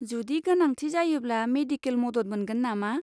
जुदि गोनांथि जायोब्ला मेडिकेल मदद मोनगोन नामा?